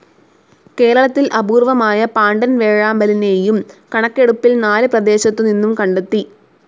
കേരളത്തിൽ അപൂർവമായ പാണ്ടൻ വേഴാമ്പലിനെയും കണക്കെടുപ്പിൽ നാല് പ്രദേശത്തു നിന്നും കണ്ടെത്തി.